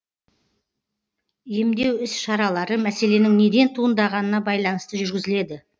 емдеу іс шаралары мәселенің неден туындағанына байланысты жүргізіледі